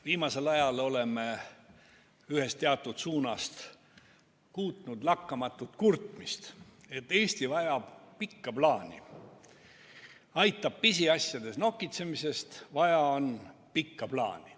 Viimasel ajal oleme ühest teatud suunast kuulnud lakkamatut kurtmist, et Eesti vajab pikka plaani, aitab pisiasjades nokitsemisest, vaja on pikka plaani.